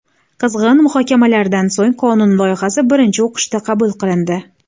Qizg‘in muhokamalardan so‘ng qonun loyihasi birinchi o‘qishda qabul qilindi.